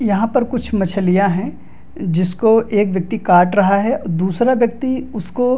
यहां पर कुछ मछलियां है जिसको एक व्यक्ति काट रहा है दूसरा व्यक्ति उसको --